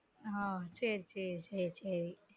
ஆஹ் சேர் சேரி சேரி